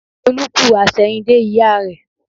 Olú kú àsẹ̀yìndè ìyá rẹ